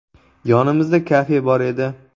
Yonimizda kafe bor edi.